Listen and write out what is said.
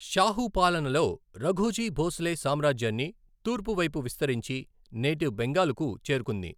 షాహూ పాలనలో, రఘోజీ భోసలే సామ్రాజ్యాన్ని తూర్పువైపు విస్తరించి, నేటి బెంగాల్కు చేరుకుంది.